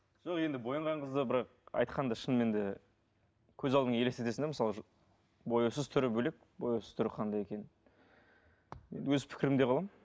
жоқ енді боянған қыздар бірақ айтқанда шынымен де көз алдыңа елестетесің де мысалы бояусыз түрі бөлек бояусыз түрі қандай екенін енді өз пікірімде қаламын